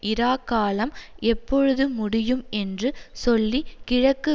இராக்காலம் எப்பொழுது முடியும் என்று சொல்லி கிழக்கு